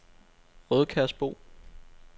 Rødkærsbro